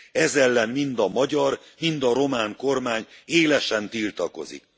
Ez ellen mind a magyar, mind a román kormány élesen tiltakozik.